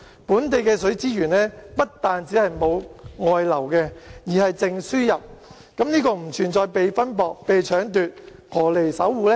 本地的水資源不但沒有外流，而且是淨輸入，不存在被分薄、被搶奪，何來要守護呢？